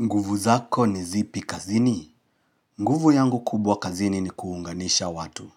Nguvu zako ni zipi kazini? Nguvu yangu kubwa kazini ni kuunganisha watu.